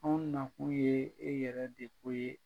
Anw nakun ye, e yɛrɛ de ko ye.